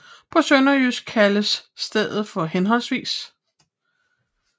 På sønderjysk kaldes stedet for hhv